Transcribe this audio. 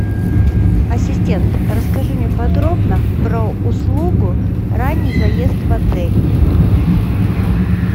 ассистент расскажи мне подробно про услугу ранний заезд в отель